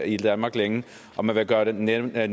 i danmark længe og man vil gøre det nemmere at